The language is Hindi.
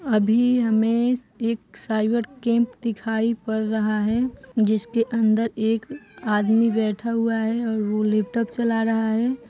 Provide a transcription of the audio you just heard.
अभी हमें एक साइबर कैफ़े दिखाई पड़ रहा है जिसके अंदर एक आदमी बैठा हुआ है और वो लैपटॉप चला रहा है।